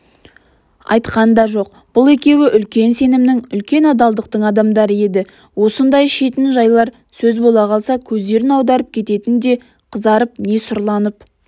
айтқан да жоқ бұл екеуі үлкен сенімнің үлкен адалдықтың адамдары еді осындай шетін жайлар сөз бола қалса көздерін аударып кететін не қызарып не сұрланып